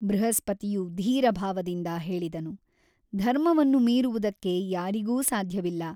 ಬೃಹಸ್ಪತಿಯು ಧೀರಭಾವದಿಂದ ಹೇಳಿದನು ಧರ್ಮವನ್ನು ಮೀರುವುದಕ್ಕೆ ಯಾರಿಗೂ ಸಾಧ್ಯವಿಲ್ಲ.